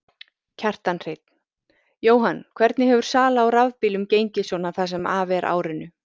Kjartan Hreinn: Jóhann, hvernig hefur sala á rafbílum gengið svona það sem af er árinu?